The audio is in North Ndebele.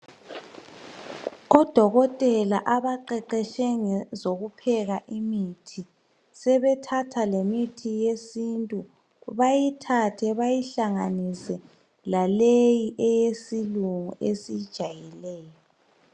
Odokotela abaqeqetshe ngezokupheka imithi, sebethatha lemithi yesintu, bayihlanganise laleyi eyesilungu esiyijayeleyo.